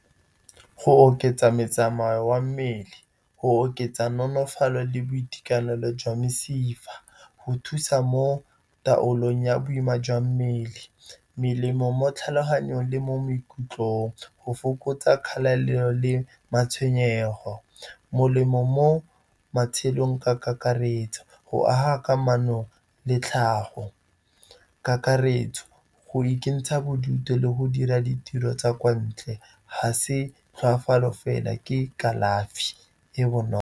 Go oketsa metsamao ya mmele, go oketsa nonofalo le boitekanelo jwa mesifa. Go thusa mo taolong ya boima jwa mmele, melemo mo tlhaloganyong le mo maikutlong, go fokotsa kgatelelo le matshwenyego. Molemo mo matshelong ka kakaretso, go aga kamano le tlhago, kakaretso go ikentsha bodutu le go dira ditiro tsa kwa ntle. Ga se tlhokafalo fela, ke kalafi e bonolo.